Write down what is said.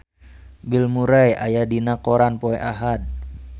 Bill Murray aya dina koran poe Ahad